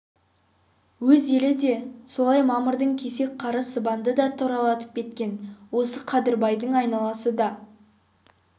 өз елі де солай мамырдың кесек қары сыбанды да тұралатып кеткен осы қадырбайдың өз айналасы да